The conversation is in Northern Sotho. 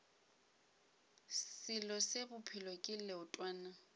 selo se bophelo ke leotwana